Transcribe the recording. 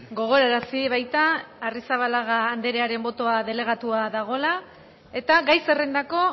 gogorarazi baita arrizabalaga anderearen botoa delegatua dagoela eta gai zerrendako